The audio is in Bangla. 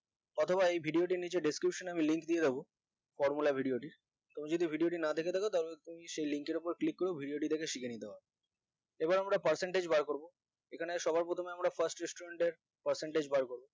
অথবা এই video টির নিচে description আমি link দিয়ে দিবো formula video টি কেউ যদি video টি না দেখে থাকো তাহলে তুমি সেই link এর উপর click করে video দেখে শিখে নিতে পারো এবার আমরা percentage বার করবো এখানে সবার প্রথমে আমরা first student এর percentage বার করবো